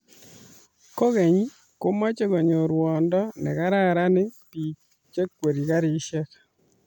kogeny, komeche konyor ruondo negararan biik chekwerie karishek